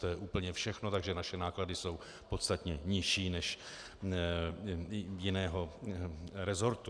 To je úplně všechno, takže naše náklady jsou podstatně nižší než jiného resortu.